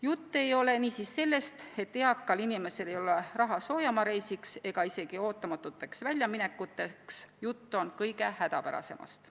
Jutt ei ole niisiis sellest, et eakal inimesel ei ole raha soojamaareisiks ega isegi ootamatuteks väljaminekuteks, jutt on kõige hädapärasemast.